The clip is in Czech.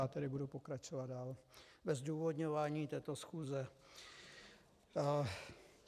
Já tedy budu pokračovat dál ve zdůvodňování této schůze.